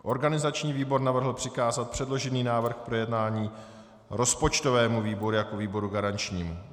Organizační výbor navrhl přikázat předložený návrh k projednání rozpočtovému výboru jako výboru garančnímu.